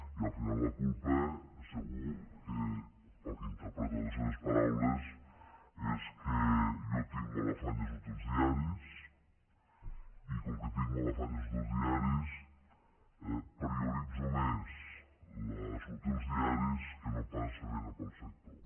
i al final la culpa segur que pel que interpreto de les seves paraules és que jo tinc molt afany de sortir als diaris i com que tinc molt afany de sortir als diaris prioritzo més sortir als diaris que no pas fer feina per al sector